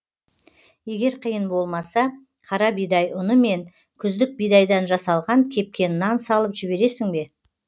егер қиын болмаса қара бидай ұны мен күздік бидайдан жасалған кепкен нан салып жібересің бе